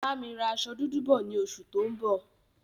Bámi ra aṣọ dúdú bọ̀ ni oṣù tó ń bọ̀